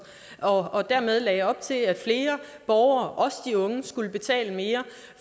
og og dermed lagde op til at flere borgere også de unge skulle betale mere